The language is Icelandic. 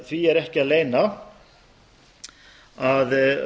því er ekki að leyna að